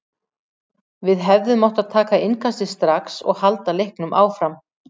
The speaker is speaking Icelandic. Við hefðum átt að taka innkastið strax og halda leiknum áfram.